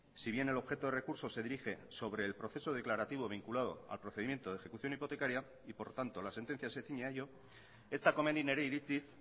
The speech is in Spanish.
si bien el objeto de recurso se dirige sobre el proceso declarativo vinculado al procedimiento de ejecución hipotecaria y por lo tanto la sentencia se ciñe a ello ez da komeni nire iritziz